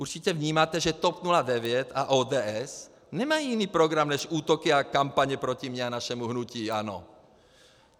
Určitě vnímáte, že TOP 09 a ODS nemají jiný program než útoky a kampaně proti mně a našemu hnutí ANO.